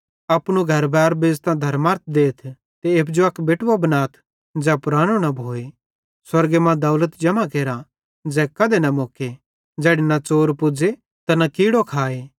अपनू घरबार बेच़तां धर्मरथ देथ ते एप्पू जो अक बेटुवो बनाथ ज़ै पुरानो न भोए स्वर्गे मां दौलत जम्हां केरा ज़ै कधे न मुक्के ज़ैड़ी न च़ोर पुज़े ते न कीड़ो खाए